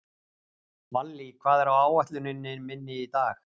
Vallý, hvað er á áætluninni minni í dag?